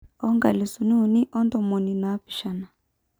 O nkalisuni uni ontomoni napishana.